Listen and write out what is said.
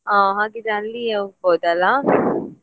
ಹಾ ಹಾಗಿದ್ರೆ ಅಲ್ಲಿಗೆ ಹೋಗಬೋದಲ್ಲ.